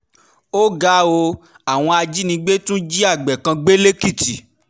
ó ga ọ́ àwọn ajínigbé tún jí àgbẹ̀ kan gbé lẹ́kìtì